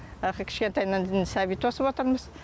аха кішкентайынан сәби тосып отырмыз